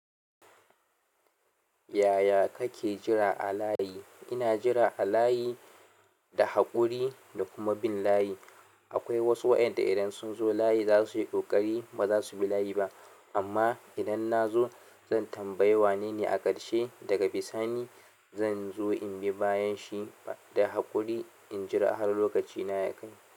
Yaya kake jira a layi? Ina jira a layi da haƙuri da kuma bin layi. Akwai wasu waɗanda idan sun zo layi zasuyi ƙoƙari bazasu bi layi ba. Amma idan nazo zan tambayi wanene a ƙarshe daga bisani zan zo in bi bayan shi da haƙuri in jira har lokacina ya kai.